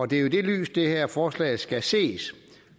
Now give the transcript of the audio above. det er i det lys det her forslag skal ses